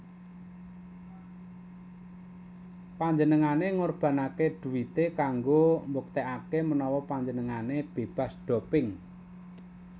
Panjenengane ngorbanake duite kanggo mbuktekake menawa panjenengane bebas doping